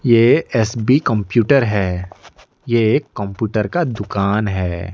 ये S B computer है ये एक कंप्यूटर का दुकान है।